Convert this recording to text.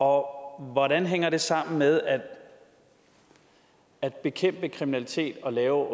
hvordan hænger det sammen med at at bekæmpe kriminalitet og lave